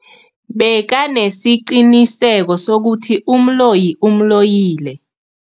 Bekanesiqiniseko sokuthi umloyi umloyile.